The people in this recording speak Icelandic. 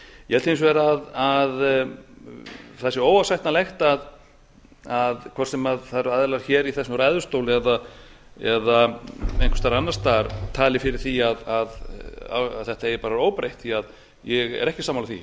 ég held hins vegar að það sé óásættanlegt hvort sem það eru aðilar hér í þessum ræðustól eða einhvers staðar annars staðar sem tali fyrir því að þetta eigi bara að vera óbreytt ég er ekki sammála því ég